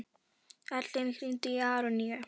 Erlen, hringdu í Aroníu.